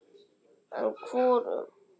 En hvorum?